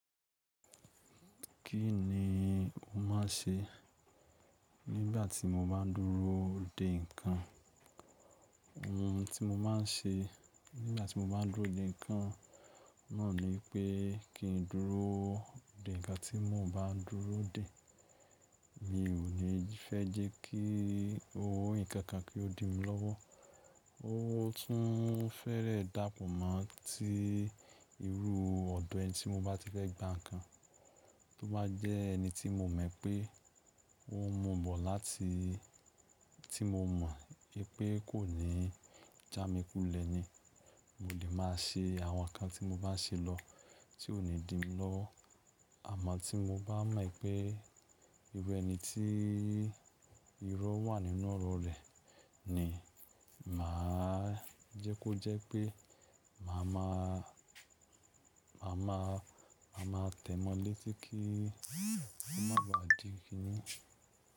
Kí ni o máa ń ṣe nígbà tí mo bá ń dúró dè nǹkan? Ohun tí mo má ń ṣe nígbà tí mo bá ń dúró dè nǹkan náà ni pé kí n dúró dè. Ìgbà tí mo bá dúró dè mi ò ní fẹ́ jẹ́ kí ohun ìkankan kí ó di mí lọ́wọ́. Ó tún fẹ́rẹ̀ẹ́ dápọ̀ mọ́ ti irú ọ̀dọ̀ ẹni tí mo bá ti fẹ́ gba nǹkan tó bá jẹ́ ẹni tí mo mọ̀ pé ó n múbọ̀ láti tí mo mọ̀ wípé kò ní já mi kulẹ̀ ni mo lè máa ṣe àwọn nǹkan tí mo bá ń ṣe lọ tí ò ní di mí lọ́wọ. Àmọ́ tí mo bá mọ̀ pé irú ẹni tí irọ wà nínú ọrọ̀ rẹ̀ ni màá jẹ́ kó jẹ́ pé màá máa, màá máa, màá máa tẹ̀mọ́ létí kí ó má ba à di ki ni.